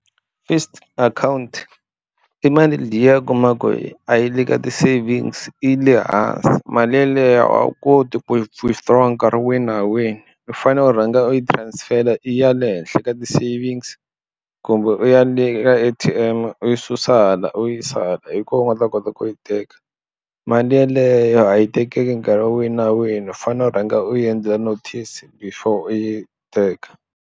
Fixed account i mali liya u kuma ku yi a yi le ka ti-savings i le hansi mali yeleyo a wu koti ku yi withdraw nkarhi wihi na wihi u fanele u rhanga u yi transfer i ya le henhla ka ti-savings kumbe u ya le ka A_T_M u yi susa hala u yi sala hi kona u nga ta kota ku yi teka mali yeleyo a yi tekeki nkarhi wihi na wihi u fanele u rhanga u yi endlela notice before u yi teka.